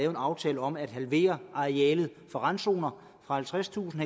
aftalen om at halvere arealet for randzoner fra halvtredstusind